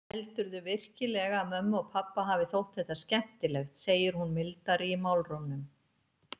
Heldurðu virkilega að mömmu og pabba hafi þótt þetta skemmtilegt, segir hún mildari í málrómnum.